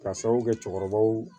K'a sababu kɛ cɛkɔrɔbaw ye